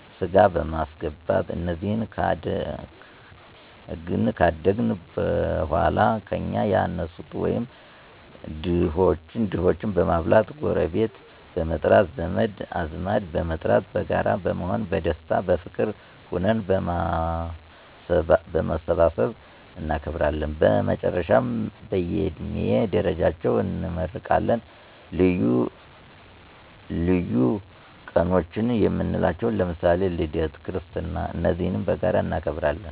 ሥጋበማስገባት እነዚህ ካደአግን በኀላ ከእኛ ያነሱትን ወይም ድሆችን በማብላት፣ ጎረቤት በመጥራት፣ ዘመድአዝማድበመጥራት በጋራ በመሆን በደስታ፣ በፍቅር ሁነን በማሠባሠብ እናከብራለን። በመጨረሻም በእየድሜ ደረጃቸው እንመራረቃለን። ልዪ ቀኖችየምንላቸዉ ለምሳሌ ልደት ክርስትና እነዚህም በጋራ እናከብራለን።